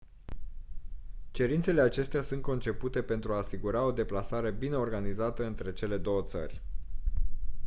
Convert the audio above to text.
cerințele acestea sunt concepute pentru a asigura o deplasare bine organizată între cele două țări